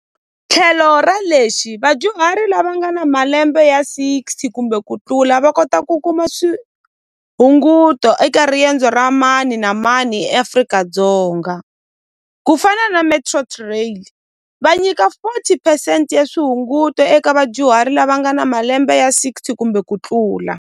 Tlhelo ra lexi vadyuhari lava nga na malembe ya sixty kumbe ku tlula va kota ku kuma swihunguto eka riendzo ra mani na mani Afrika-Dzonga ku fana na metro va nyika forty percent ya swihunguto eka vadyuhari lava nga na malembe ya sixty kumbe ku tlula.